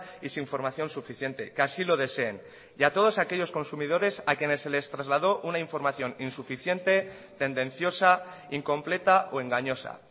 y sin formación suficiente que así lo deseen y a todos aquellos consumidores a quienes se les trasladó una información insuficiente tendenciosa incompleta o engañosa